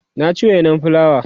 na ci wainan fulawa